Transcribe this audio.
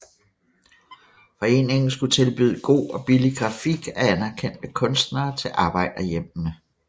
Foreningen skulle tilbyde god og billig grafik af anerkendte kunstnere til arbejderhjemmene